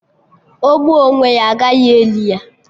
O gbuo onwe ya, agaghị eli ya